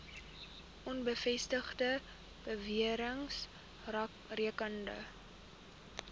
onbevestigde bewerings rakende